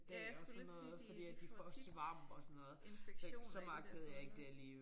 Ja skulle lige til at sige de de får tit infektion i de der folder